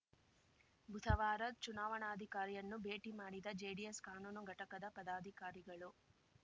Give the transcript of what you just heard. ಬುಧವಾರ ಚುನಾವಣಾಧಿಕಾರಿಯನ್ನು ಭೇಟಿ ಮಾಡಿದ ಜೆಡಿಎಸ್‌ ಕಾನೂನು ಘಟಕದ ಪದಾಧಿಕಾರಿಗಳು